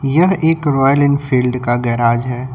यह एक Royal Enfield का गैराज है।